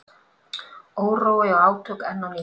Órói og átök enn á ný